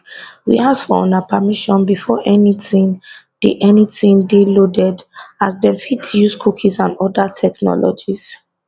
we ask for una permission before anytin dey anytin dey loaded as dem fit dey use cookies and oda technologies